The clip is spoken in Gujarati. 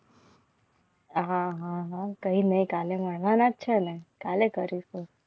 કઈ નહિ કાલે મળવાના જ છે ને કાલે કરું છું.